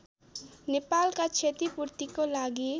नेपालका क्षतिपूर्तिको लागि